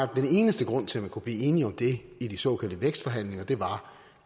den eneste grund til man kunne blive enige om det i de såkaldte vækstforhandlinger var